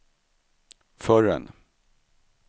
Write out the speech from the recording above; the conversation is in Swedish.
förrän